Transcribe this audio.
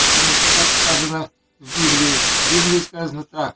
потому что как сказано в библии а в библии сказано так